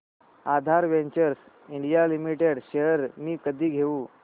आधार Ventures India Limited shares मी कधी घेऊ